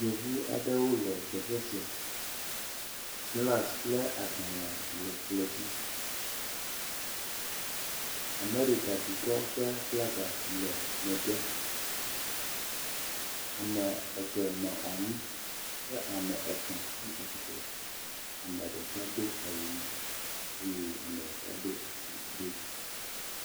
Yevu aɖewo le teƒe sia. Glasi kple agbale le kplɔ dzi. Amerika dukɔ ƒe flaga le megbe. Ame eve nɔ anyi kea me etɔ̃ tsi atsitre. Ame ɖeka do awu ʋi eye ame ɖeka doa si ɖe dzi.